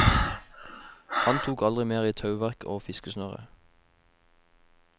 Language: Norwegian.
Han tok aldri mer i tauverk og fiskesnøre.